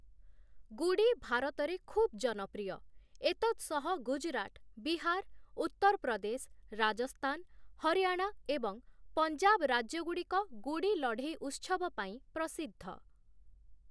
ଗୁଡ଼ି ଭାରତରେ ଖୁବ୍‌ ଜନପ୍ରିୟ, ଏତତ୍‌ ସହ ଗୁଜରାଟ, ବିହାର, ଉତ୍ତରପ୍ରଦେଶ, ରାଜସ୍ଥାନ, ହରିୟାଣା ଏବଂ ପଞ୍ଜାବ ରାଜ୍ୟଗୁଡ଼ିକ ଗୁଡ଼ି ଲଢ଼େଇ ଉତ୍ସବ ପାଇଁ ପ୍ରସିଦ୍ଧ ।